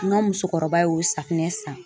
N ka musokɔrɔba y'o safinɛ san